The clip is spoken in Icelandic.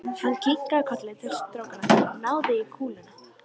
Hann kinkaði kolli til strákanna og náði í kúluna.